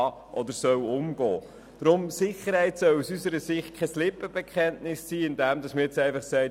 Deshalb soll Sicherheit aus unserer Sicht kein Lippenbekenntnis sein, indem man jetzt einfach sagt: